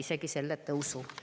Isegi selle tõusu.